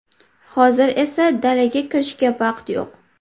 Hozir esa dalaga kirishga vaqt yo‘q.